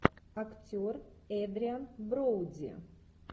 актер эдриан броуди